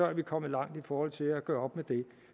er vi kommet langt i forhold til at gøre med det